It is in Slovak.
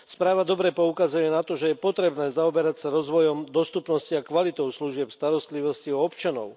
Správa dobre poukazuje na to, že je potrebné zaoberať sa rozvojom dostupnosti a kvalitou služieb starostlivosti o občanov.